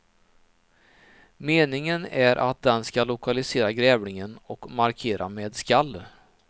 Meningen är att den ska lokalisera grävlingen och markera med skall.